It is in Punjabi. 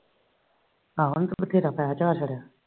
ਆਹੋ ਉਹਨਾ ਬਥੇਰਾ